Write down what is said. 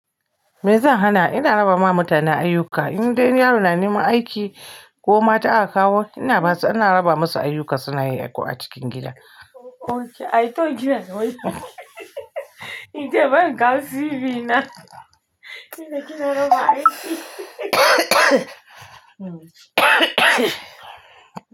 Me zai hana? Ina raba ma mutane ayyuka. In dai yaro na neman aiki ko mata aka kawo, ina basu, ina raba musu ayyuka suna yi ko a cikin gida. Okay, I thought you were going to say ban ga TV na. Kina raba aiki.